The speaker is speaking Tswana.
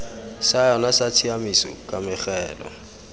sa yona sa tshiaimiso kamogelo